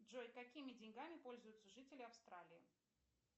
джой какими деньгами пользуются жители австралии